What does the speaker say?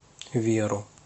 веру